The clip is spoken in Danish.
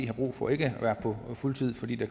har brug for ikke at være på fuld tid fordi